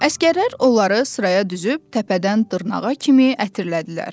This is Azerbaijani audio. Əsgərlər onları sıraya düzüb təpədən dırnağa kimi ətirlədilər.